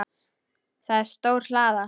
Það er stór hlaða.